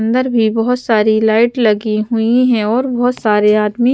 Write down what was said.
अंदर भी बहुत सारी लाइट लगी हुई है और बहुत सारे आदमी--